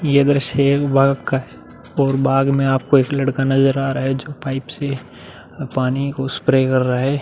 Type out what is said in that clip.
ये दृश्य एक बाग़ का है और बाग़ मे आपको एक लड़का नज़र आ रहा है जो पाइप से पानी को स्प्रे कर रहा है।